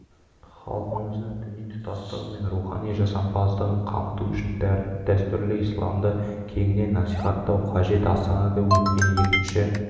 халқымыздың діни тұтастығы мен рухани жасампаздығын қамту үшін дәстүрлі исламды кеңінен насихаттау қажет астанада өткен екінші